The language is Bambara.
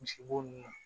Misi bo nunnu na